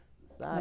sabe? Mas